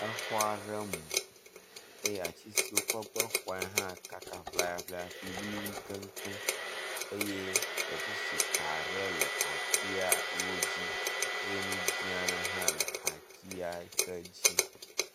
Exɔ aɖe mu eye atsi si wokɔ gbe xɔe hã kaka ŋlayaŋlaya fli wluiwlui keŋkeŋ eye elektrisitika aɖe le atsiawo dzi ye nu dzi aɖe hã le atsi ake dzi.